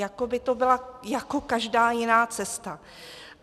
Jako by to byla jako každá jiná cesta.